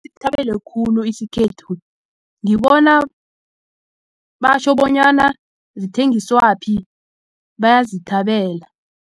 khulu isikhethu ngibona batjho bonyana zithengiswaphi bayazithabela.